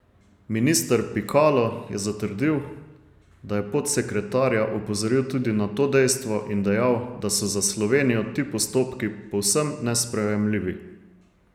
Minister Pikalo je zatrdil, da je podsekretarja opozoril tudi na to dejstvo in dejal, da so za Slovenijo ti postopki povsem nesprejemljivi.